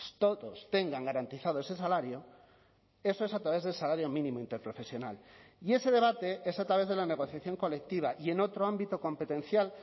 todos tengan garantizado ese salario eso es a través del salario mínimo interprofesional y ese debate es a través de la negociación colectiva y en otro ámbito competencial